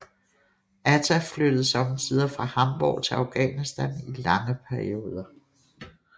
Atta flyttede sommetider fra Hamborg til Afghanistan i lange perioder